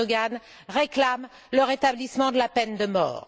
Erdoğan réclame le rétablissement de la peine de mort.